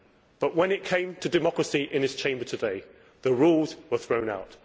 But when it came to democracy in this Chamber today, the rules were thrown out.